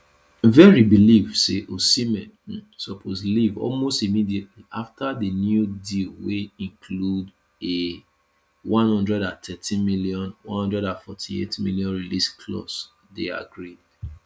verri believe say osimhen um suppose leave almost immediately afta di new deal wey include a one hundred and thirteen million one hundred and forty eight million release clause dey agreed